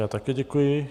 Já také děkuji.